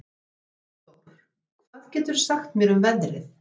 Eldór, hvað geturðu sagt mér um veðrið?